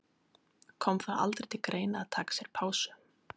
Kom það aldrei til greina að taka sér pásu?